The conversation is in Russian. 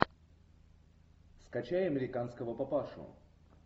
скачай американского папашу